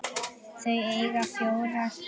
Þau eiga fjórar dætur.